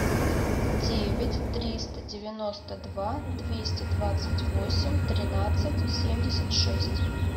девять триста девяносто два двести двадцать восемь тринадцать семьдесят шесть